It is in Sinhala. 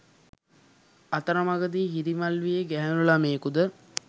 අතරමඟදී හිරිමල් වියේ ගැහැණු ළමයෙකුද